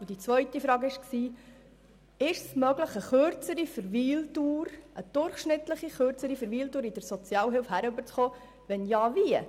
Die zweite Frage lautete, ob eine durchschnittlich kürzere Verweildauer in der Sozialhilfe erreicht werden kann und, wenn ja, wie.